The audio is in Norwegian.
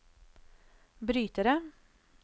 brytere